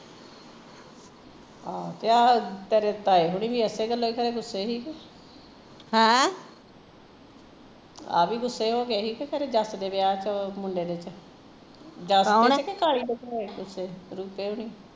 ਆਹ ਆਹੋ ਤੇ ਆਹ ਤੇਰੇ ਤਾਏ ਹੁਣੀ ਵੀ ਇਸੇ ਗੱਲੋਂ ਖਰੇ ਗੁੱਸੇ ਹੋਏ ਸੀ ਆਹ ਵੀ ਕਿ ਗੁੱਸੇ ਹੋਗੇ ਸੀ ਜੱਸ ਦੇ ਵਿਆਹ ਚ ਮੁੰਡੇ ਦੇ ਚ ਜੱਸ ਦੇ ਚ ਕਿ ਕਾਲੇ ਦੇ ਚ ਦੀਪੇ ਹੋਰੀਂ